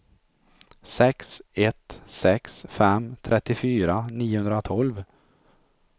sex ett sex fem trettiofyra niohundratolv